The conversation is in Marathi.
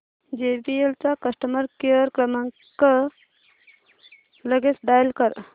जेबीएल चा कस्टमर केअर क्रमांक लगेच डायल कर